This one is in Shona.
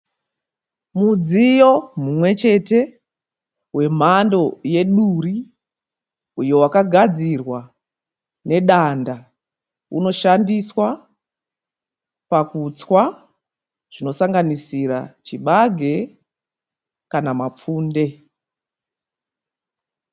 Mudziyo mumwe chete wemhando yeduri uyo wakagadzirwa nedanda unoshandiswa pakutswa zvinosanganisira chibage kana mapfunde.